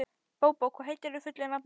Bóbó, hvað heitir þú fullu nafni?